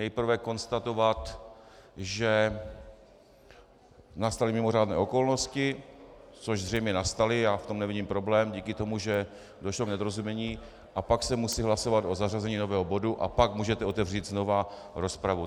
Nejprve konstatovat, že nastaly mimořádné okolnosti, což zřejmě nastaly, já v tom nevidím problém díky tomu, že došlo k nedorozumění, a pak se musí hlasovat o zařazení nového bodu a pak můžete otevřít znova rozpravu.